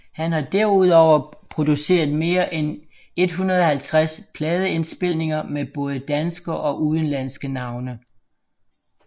Har derudover produceret mere end 150 pladeindspilninger med både danske og udenlandske navne